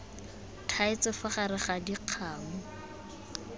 thaetswe fa gare ga dikgamu